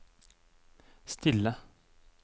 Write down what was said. stille